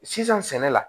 Sisan sɛnɛ la